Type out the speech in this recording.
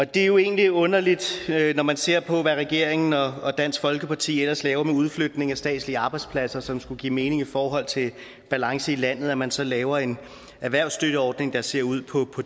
det er jo egentlig underligt når man ser på hvad regeringen og dansk folkeparti ellers laver med udflytning af statslige arbejdspladser som skulle give mening i forhold til balance i landet at man så laver en erhvervsstøtteordning der ser ud på